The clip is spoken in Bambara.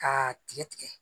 K'a tigɛ tigɛ